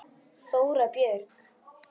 Þóra Björg.